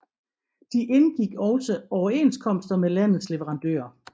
De indgik også overenskomster med landets leverandører